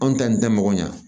Anw ta nin tɛ mɔgɔ ɲa